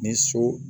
Ni so